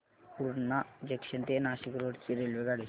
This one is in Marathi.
पूर्णा जंक्शन ते नाशिक रोड ची रेल्वेगाडी